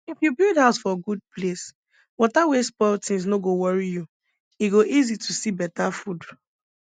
if you build house for good place water wey spoil things no go worry you e go easy to see better food